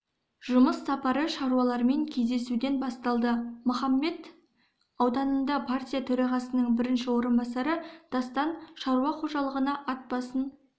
жұмыс сапары шаруалармен кездесуден басталды махамбет ауданында партия төрағасының бірінші орынбасары дастан шаруа қожалығына ат басын